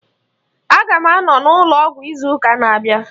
Aga m anọ n'ụlọ ọgwụ n'izu ụka na-abịa.